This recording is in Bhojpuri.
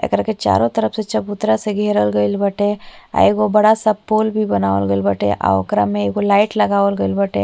एकरा के चारों तरफ से चबूतरा से घेरल गइल बाटे आ एगो बड़ा सा पोल भी बनावल गइल बाटे आ ओकरा में एगो लाइट भी लगावल गइल बाटे।